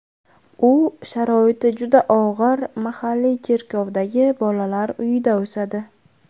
U sharoiti juda og‘ir mahalliy cherkovdagi bolalar uyida o‘sadi.